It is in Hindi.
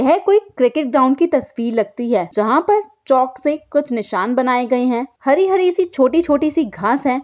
यह कोई क्रिकेट ग्राउंड की तस्वीर लगती है जहाँ पर चौक से कुछ निशान बनाए गए हैं। हरी-हरी सी छोटी-छोटी सी घांस है।